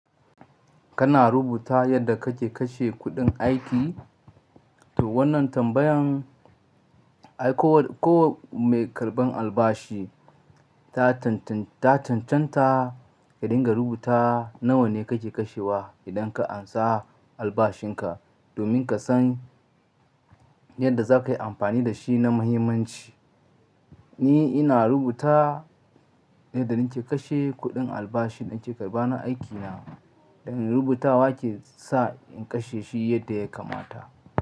Kana rubuta yadda kake kashe kuɗin aiki? To wannan tambayan ai ko wa-ko wa mai karɓan albashi ta tantan-ta cancanta ka dinga rubuta nawa ne kake kashewa idan ka ansa albashinka, domin ka san yadda za ka yi amfani da shi na muhimmanci. Ni ina rubuta yadda nake kashe kuɗin albashin da nake karɓa na aikina, da rubutawa ke sa in kashe shi yadda ya kamata.